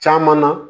Caman na